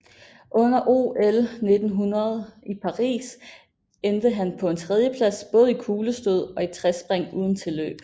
Under OL 1900 i Paris endte han på en tredje plads både i kuglestød og i trespring uden tilløb